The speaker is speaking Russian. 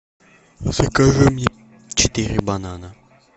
закажи мне четыре банана